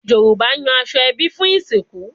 Yoruba yan aso ebi fun isinku